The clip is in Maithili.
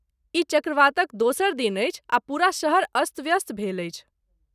ई चक्रवातक दोसर दिन अछि आ पूरा शहर अस्त व्यस्त भेल अछि।